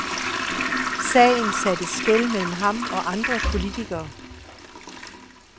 Sagen satte skel mellem ham og andre politikere.